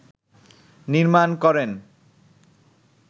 নির্মাণ করেন